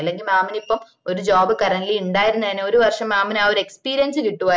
അല്ലെങ്കില്ന് mam ന് ഇപ്പൊ ഒരു job currently ഇണ്ടാവുമായിരുന്നേ ഒരു വർഷം ആഹ് experience കിട്ടുമായിരുന്ന്